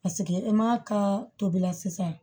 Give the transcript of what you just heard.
Paseke e m'a ka tobila sisan